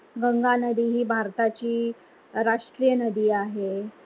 गंगा नदी ही भारताची राष्ट्रीय नदी आहे.